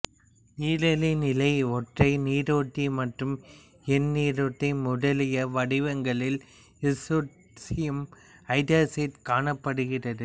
நீரிலி நிலை ஒற்றை நீரேற்று மற்றும் எந்நீரேற்று முதலிய வடிவங்களில் இசுட்ரோன்சியம் ஐதராக்சைடு காணப்படுகிறது